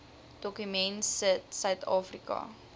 dokument sit suidafrika